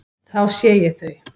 Þá sé ég þau.